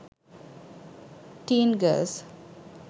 teen girls